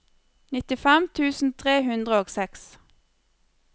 nittifem tusen tre hundre og seks